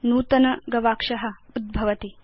नूतन गवाक्ष उदागच्छेत्